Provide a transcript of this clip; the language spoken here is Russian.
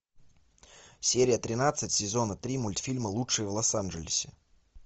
серия тринадцать сезона три мультфильма лучшие в лос анджелесе